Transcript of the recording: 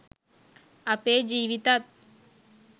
අපේ ජීවිතත්